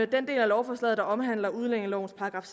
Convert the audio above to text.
den del af lovforslaget der omhandler udlændingelovens §